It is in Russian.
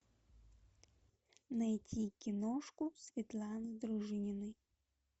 найти киношку светланы дружининой